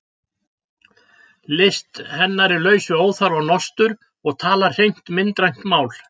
List hennar er laus við óþarfa nostur og talar hreint myndrænt mál.